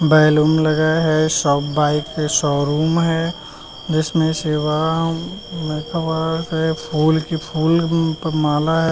Balloon लगाया है। सब बाइक का शोरूम है जिसमें है फिर फूल की फूल पर माला है।